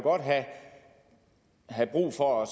have brug for at